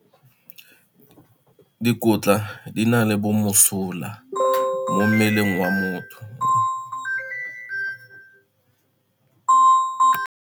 Dikotla di na le bomosola mo mmeleng wa motho.